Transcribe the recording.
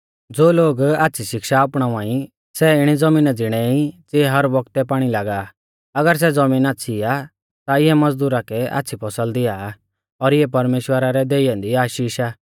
ज़ो लोग आच़्छ़ी शिक्षा अपणावा ई सै इणी ज़मीना ज़िणै ई ज़िऐ हर बौगतै पाणी लागा आ अगर सै ज़बीन आच़्छ़ी आ ता इऐ मज़दुरा कै आच़्छ़ी फसल दिया आ और इऐ परमेश्‍वरा रै देई ऐन्दी आशीष आ